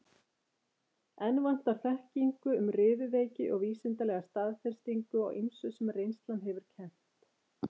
Enn vantar á þekkingu um riðuveiki og vísindalega staðfestingu á ýmsu, sem reynslan hefur kennt.